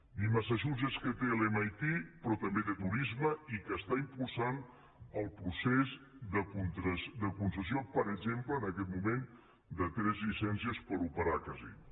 ni massachusetts que té l’mit perquè també té turisme i impulsa el procés de concessió per exemple en aquest moment de tres llicències per operar a casinos